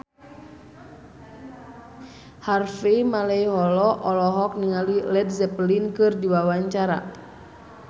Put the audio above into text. Harvey Malaiholo olohok ningali Led Zeppelin keur diwawancara